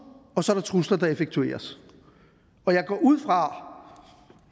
og så er der trusler der effektueres og jeg går ud fra